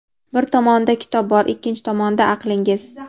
Bir tomonida kitob bor — ikkinchi tomonda aqlingiz.